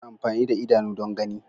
Ana amfani da idanu don gani.